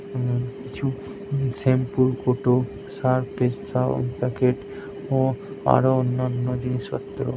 হুম কিছু শ্যামপুর কোটো surprise sound packet ও আরো অন্যান্য জিনিসপত্র ।